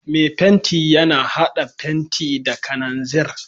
Mai fenti yana hada fenti da kananzir.